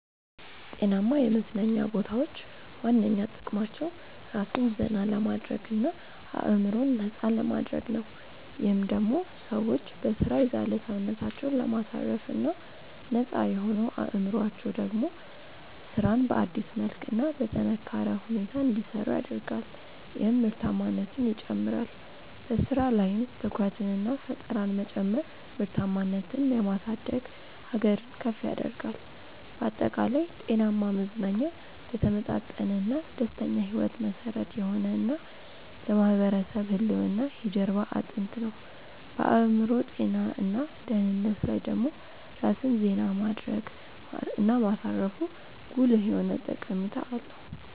ጤናማ የመዝናኛ ቦታዎች ዋነኛ ጥቅማቸው ራስን ዘና ለማድረግ እና አዕምሮን ነፃ ለማድረግ ነው። ይህም ደሞ ሰዎች በሥራ የዛለ ሰውነታቸውን ለማሳረፍ እና ነፃ የሆነው አዕምሮአቸው ደሞ ስራን በአዲስ መልክ እና በጠነካረ ሁኔታ እንዲሰሩ ያደርጋል ይህም ምርታማነትን ይጨምራል። በሥራ ላይም ትኩረትንና ፈጠራን መጨመር ምርታማነትን የማሳደግ ሀገርን ከፍ ያደርጋል። ባጠቃላይ፣ ጤናማ መዝናኛ ለተመጣጠነና ደስተኛ ሕይወት መሠረት የሆነ እና ለማህበረሰብ ህልውና የጀርባ አጥንት ነው። በአዕምሮ ጤና እና ደህንነት ላይ ደሞ ራስን ዜና ማድረግ እና ማሳረፉ ጉልህ የሆነ ጠቀሜታ አለው።